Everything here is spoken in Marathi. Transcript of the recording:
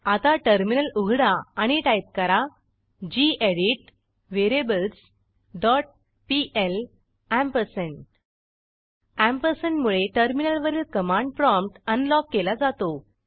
आता टर्मिनल उघडा आणि टाईप करा gedit variables dot PL ampersand ampersand मुळे टर्मिनलवरील कमांड प्रॉम्प्ट अनलॉक केला जातो